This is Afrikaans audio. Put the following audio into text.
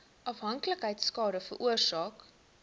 afhanklikheid skade veroorsaak